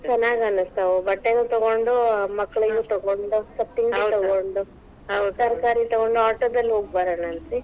ಚೆನ್ನಾಗನ್ನಸ್ತಾವ ಬಟ್ಟೆನು ತಗೊಂಡು, ಮಕ್ಕಳಿಗೂ ತಗೊಂಡ್, ತಿಂಡಿನು ತಗೊಂಡು ತರಕಾರಿ ತಗೊಂಡು auto ದಲ್ಲಿ ಹೋಗಬರೋಣಂತ್ರಿ.